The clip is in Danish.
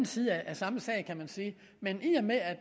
side af samme sag kan man sige men i og med at